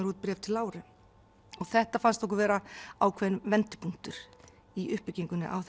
út bréf til Láru þetta fannst okkur vera ákveðinn vendipunktur í uppbyggingunni á